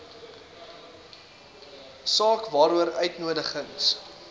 saak waaroor uitnodigings